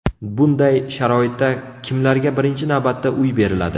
Bunday sharoitda kimlarga birinchi navbatda uy beriladi?